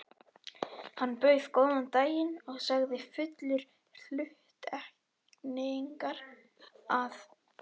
Hann bauð góðan daginn og sagði fullur hluttekningar, að